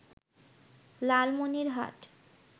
Lalmonirhat